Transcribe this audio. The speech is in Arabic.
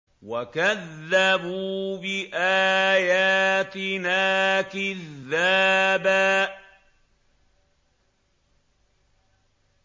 وَكَذَّبُوا بِآيَاتِنَا كِذَّابًا